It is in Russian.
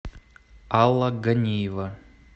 алла ганиева